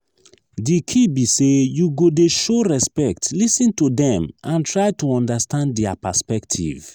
di key be say you go dey show respect lis ten to dem and try to understand dia perspective.